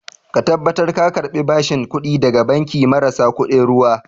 Ka tabbatar ka karɓi bashin kuɗi daga banki marasa kuɗin ruwa